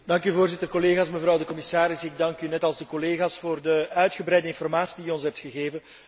Voorzitter, collega's, commissaris, ik dank u, net als de collega's, voor de uitgebreide informatie die u ons hebt gegeven.